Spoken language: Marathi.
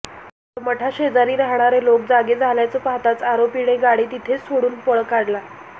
मात्र मठाशेजारी राहाणारे लोक जागे झाल्याचं पाहताच आरोपीने गाडी तिथेच सोडून पळ काढला